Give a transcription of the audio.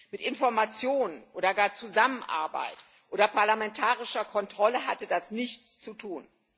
Mit Informationen oder gar Zusammenarbeit oder parlamentarischer Kontrolle hatte das nichts zu tun.